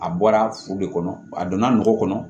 A bɔra furu de kɔnɔ a donna nɔgɔ kɔnɔ